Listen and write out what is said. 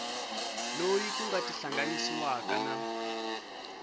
loyi ku nga tihlanganisiwaka na